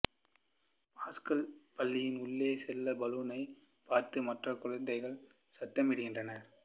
pascal பள்ளியின் உள்ளே செல்ல பலூனைப் பார்த்து மற்ற குழந்தைகள் சத்தமிடுகின்றனர்